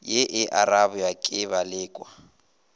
ye e arabja ke balekwa